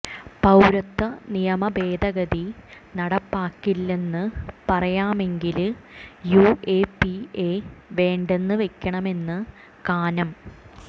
പൌരത്വ നിയമ ഭേദഗതി നടപ്പാക്കില്ലെന്ന് പറയാമെങ്കില് യുഎപിഎ വേണ്ടെന്ന് വെക്കണമെന്ന് കാനം